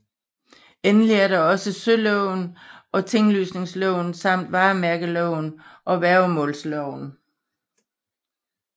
Endelig er der også søloven og tinglysningsloven samt varemærkeloven og værgemålsloven